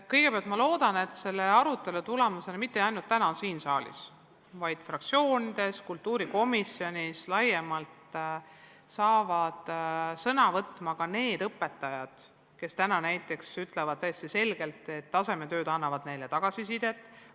Kõigepealt ma loodan, et selle arutelu tulemusena – mitte ainult täna siin saalis, vaid ka fraktsioonides ja kultuurikomisjonis – saavad laiemalt sõna ka need õpetajad, kes ütlevad täiesti selgelt, et tasemetööd annavad neile tagasisidet.